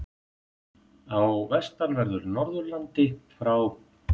Á vestanverðu Norðurlandi frá